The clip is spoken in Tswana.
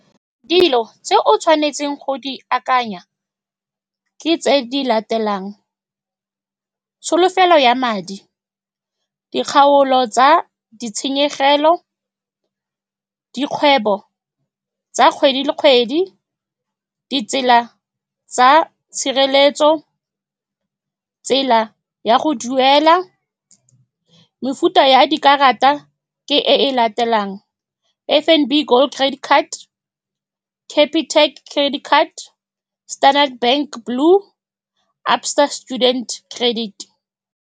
Dilo tse o tshwanetseng go di akanya ke tse di latelang, tsholofelo ya madi, dikgaolo tsa ditshenyegelo, dikgwebo tsa kgwedi le kgwedi, ditsela tsa tshireletso, tsela ya go duela. Mefuta ya dikarata ke e latelang, F_N_B gold credit card, Capitec credit card, Standard Bank blue, Store student credit.